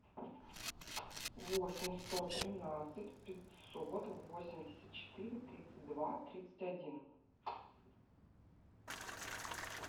восемь сто тринадцать пятьсот восемьдесят четыре тридцать два тридцать один